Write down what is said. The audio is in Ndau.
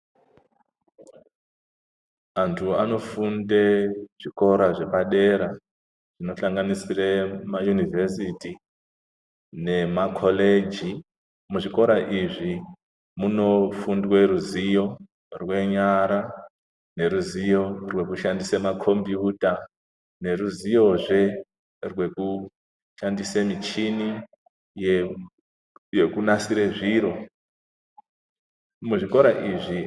Anthu anofunde zvikora zvepadera kunohlanganisire kumayunivhesiti nemakholeji muzvikora izvi munofundwe ruziyo rwenyara neruziyo rwekushandisa makombiyuta neruziyozve rwekushandise michini yekunasire zviro, muzvikora izvi .